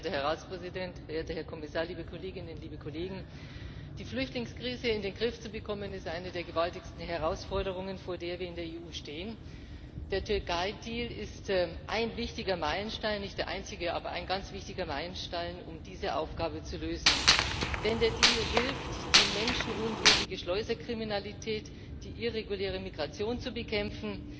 Frau Präsidentin, verehrter Herr Ratspräsident, verehrter Herr Kommissar, liebe Kolleginnen, liebe Kollegen! Die Flüchtlingskrise in den Griff zu bekommen, ist eine der gewaltigsten Herausforderungen, vor denen wir in der EU stehen. Der Türkei Deal ist ein wichtiger Meilenstein nicht der einzige, aber ein ganz wichtiger Meilenstein um diese Aufgabe zu lösen. Denn der Deal hilft, die menschenunwürdige Schleuserkriminalität, die irreguläre Migration zu bekämpfen,